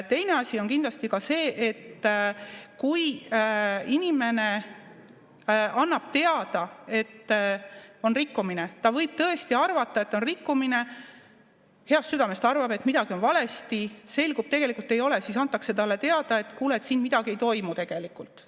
Teine asi on kindlasti ka see, et kui inimene annab teada, et on rikkumine, ta võib tõesti arvata, et on rikkumine, heast südamest arvab, et midagi on valesti, aga selgub, et tegelikult ei ole, siis antakse talle teada, et kuule, siin midagi ei toimu tegelikult.